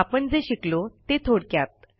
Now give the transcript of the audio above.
आपण जे शिकलो ते थोडक्यात